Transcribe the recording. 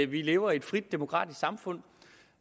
vi lever i et frit demokratisk samfund